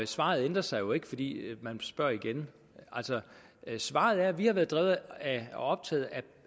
svaret ændrer sig jo ikke fordi man spørger igen altså svaret er at vi har været optaget